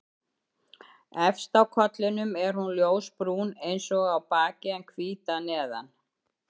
Efst á kollinum er hún ljósbrún eins og á baki en hvít að neðan.